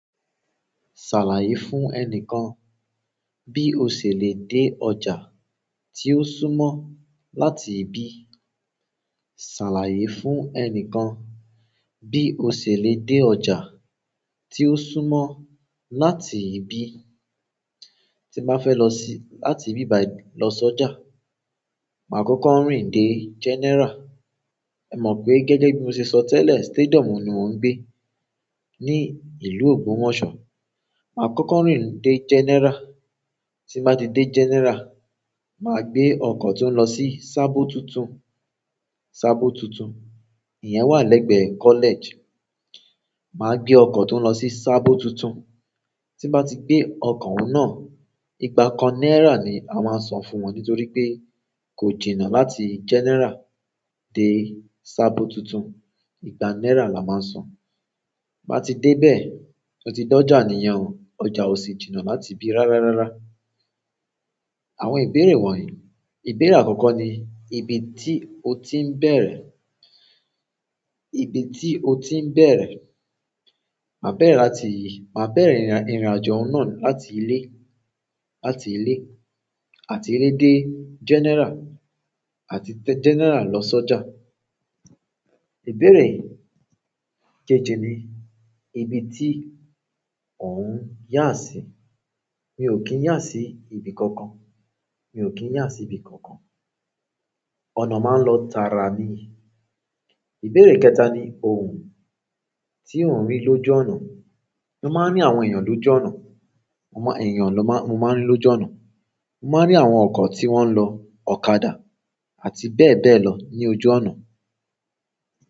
Ṣàlàyé fún ẹnìkan bí o ṣe lè dé ọjà tí ó súnmọ́ láti ibí. Ṣàlàyé fún ẹnìkan bí o ṣe lè dé ọjà tí ó súnmọ́ láti ibí. Tí n bá fẹ́ lọ sí-- láti ibí bayi lọ sọ́jà, màá kọ́kọ́ rin dé General. Ẹ mọ̀ pé gẹ́gẹ́ bí mo ṣe sọ tẹ́lẹ̀, stadium ni mò ń gbé ní ìlú Ogbomoso. Màá kọ́kọ́ rin dé General. Tí n bà ti dé General, màá gbé ọkọ̀ tó ń lọ sí Sabo tuntun, Sabo tuntun. Ìyẹn wà lẹ́gbẹ̀ẹ́ college. Màá gbé ọkọ̀ tó ń lọ sí Sabo tuntun. Tí n bà ti gbé ọkọ̀ òun náà, ìgbà kan náírà ni a máa n san fún wọn nítorí pé kò jìnnà láti General dé Sabo tuntun. Ìgbà náírà la máa san. Ti n bá ti dé bẹ́ẹ̀, mọ ti dé ọjà nìyẹn o. Ọjà ò sì jìnnà láti ibí rárárárá. Àwọn ìbéèrè wọ̀nyí. Ìbéèrè àkọ́kọ́ ni ibi tí o ti ń bẹ̀rẹ̀? Ibi tí o ti ń bẹ̀rẹ̀? Màá bẹ̀rẹ̀ láti-- màá bẹ̀rẹ̀ ìrìnàjò oun náà láti ilé, láti ilé àti ilé dé General àti General lọ sọ́jà. Ìbéèrè keje ni ibi tí òun yà sí? Mi ò kí ń yà sí ibi kankan. Mi ò kí ń yà sí ibi kankan. Ọ̀nà máa ń lọ tara ni. Ìbéèrè kẹta ni ohun tí òun rí lójú ọ̀nà? Mo máa ń rí àwọn èèyàn lójú ọ̀nà. Mo ma-- èèyàn na má-- mo máa ń rí lójú ọ̀nà. Mo máa ń rí àwọn ọkọ̀ tí wọ́n ń lọ ọ̀kadà àti bẹ́ẹ̀ bẹ́ẹ̀ lọ ní ojú ọ̀nà.